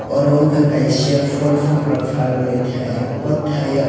oro wng kha kaisa polpokra palmani tai o tai o.